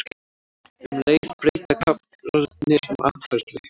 Um leið breyta karrarnir um atferli.